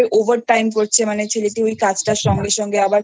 Over timeকরছে ছেলেটি ওই কাজটার সঙ্গে সঙ্গে আবার